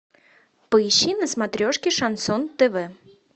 поищи на смотрешке шансон тв